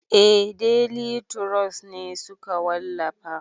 Eh deli turos ne suka wallafa